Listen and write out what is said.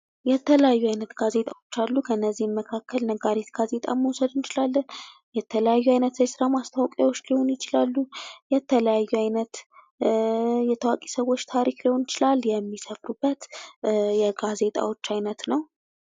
የተለያዩ አይነት ጋዜጣዎች አሉ ከነዚህም መካከል ነጋሪት ጋዜጣ መውሰድ እንችላለን። የተለያዩ አይነት የስራ ማስታወቂያዎች ሊሆኑ ይችላሉ። የተለያዩ አይነት የታዋቂ ሰዎች ታሪክ ሊሆን ይችላል የሚሰብኩበት የጋዜጣዎች አይነት ነው።